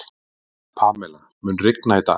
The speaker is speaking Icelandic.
Pamela, mun rigna í dag?